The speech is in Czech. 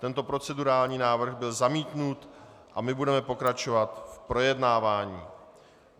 Tento procedurální návrh byl zamítnut a my budeme pokračovat v projednávání.